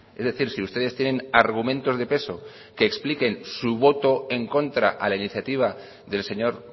es decir si ustedes tienen argumentos de peso que expliquen su voto en contra a la iniciativa del señor